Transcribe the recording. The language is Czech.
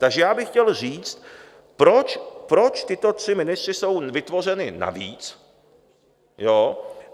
Takže já bych chtěl říct, proč tito tři ministři jsou vytvořeni navíc?